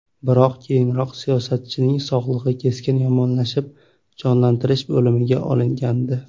Biroq keyinroq siyosatchining sog‘lig‘i keskin yomonlashib, jonlantirish bo‘limiga olingandi .